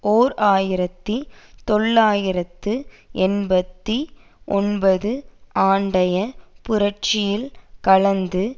ஓர் ஆயிரத்தி தொள்ளாயிரத்து எழுபத்தி ஒன்பது ஆண்டைய புரட்சியில் கலந்து